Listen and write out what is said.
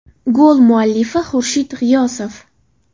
Gol muallifi Xurshid G‘iyosov.